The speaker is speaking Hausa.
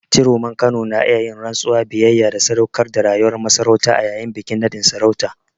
Ciroman Kano na iya yin rantsuwar biyayya da sadaukar da rayuwar masarautar a yayin bikin naɗin sarauta.